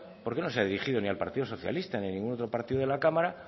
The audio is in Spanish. por qué no se ha dirigido ni al partido socialista ni a ningún otro partido de la cámara